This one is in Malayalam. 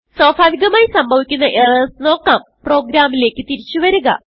സ്വാഭാവികമായി സംഭവിക്കുന്ന എറർസ് നോക്കാം പ്രോഗ്രാമിലേക്ക് തിരിച്ചു വരിക